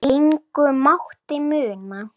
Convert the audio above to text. Engu mátti muna.